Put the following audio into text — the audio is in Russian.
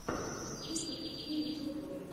ютуб запусти видеоблоги